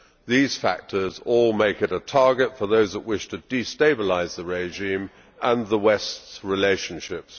These factors all make it a target for those who wish to destabilise the regime and the West's relationships.